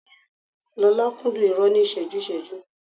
Lọ́la kúndùn irọ́ ní ìṣẹ́jú-ìṣẹ́jú